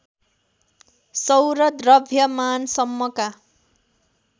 सौर द्रव्यमान सम्मका